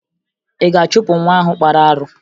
Ị ga-achụpụ nwa ahụ kpara arụ?